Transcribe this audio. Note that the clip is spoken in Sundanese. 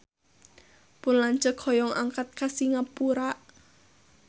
Pun lanceuk hoyong angkat ka Singapura